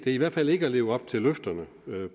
i hvert fald ikke at leve op til løfterne